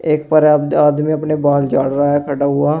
एक आदमी अपने बाल झाड़ रहा है खड़ा हुआ।